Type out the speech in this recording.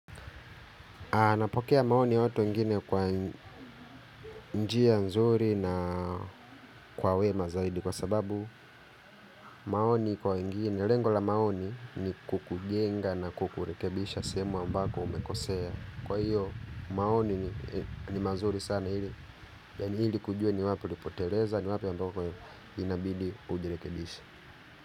Napokea maoni ya watu wengine kwa njia nzuri na kwa wema zaidi kwa sababu maoni kwa wengini, lengo la maoni ni kukujenga na kukurekebisha sehemu ambako umekosea. Kwa hiyo maoni ni mazuri sana ili, yaani ili kujue ni wapi ulipoteleza ni wapi ambako inabidi ujirekebisha.